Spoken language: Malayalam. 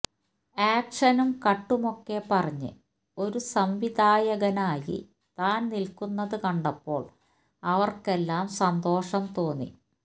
ആക്ഷനും കട്ടുമൊക്കെ പറഞ്ഞ് ഒരു സംവിധായകനായി താൻ നിൽക്കുന്നത് കണ്ടപ്പോൾ അവർക്കെല്ലാം സന്തോഷം തോന്നി